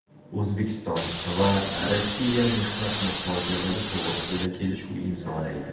O‘zbekiston va Rossiya mehnat muhojirlari to‘g‘risida kelishuv imzolaydi.